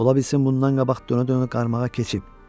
Ola bilsin bundan qabaq dönə-dönə qarmağa keçib.